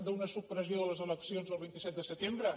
d’una supressió de les eleccions el vint set de setembre